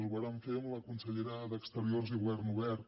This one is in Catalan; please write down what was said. ho vàrem fer amb la consellera d’exteriors i govern obert